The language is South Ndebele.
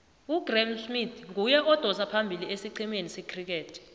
ugraeme smith nguye odosa phambili isicema secriket